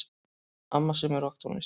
Amma semur rokktónlist.